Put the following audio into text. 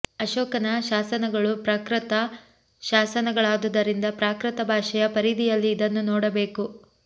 ಅಶೋಕನ ಶಾಸನಗಳು ಪ್ರಾಕೃತ ಶಾಸನಗಳಾದುದರಿಂದ ಪ್ರಾಕೃತ ಭಾಷೆಯ ಪರಿಧಿಯಲ್ಲಿ ಇದನ್ನು ನೋಡಬೇಕು